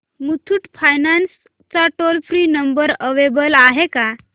Muthoot finance चा toll free number available आहे का